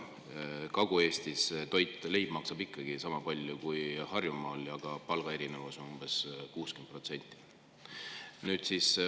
Kagu-Eestis maksab toit, ka leib, ikkagi sama palju kui Harjumaal, aga palgaerinevus on umbes 60%.